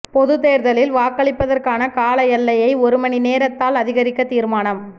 பொதுத் தேர்தலில் வாக்களிப்பதற்கான கால எல்லையை ஒரு மணி நேரத்தால் அதிகரிக்க தீர்மானம்